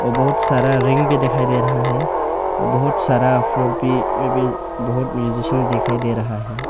और बहुत सारा रिंग भी दिखाई दे रहा है और बहुत सारा फ्लोर भी बहुत म्यूजिशियन दिखाई दे रहा है।